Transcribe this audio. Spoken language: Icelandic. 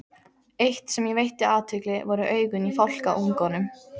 Eitt, sem ég veitti athygli, voru augun í fálkaungunum.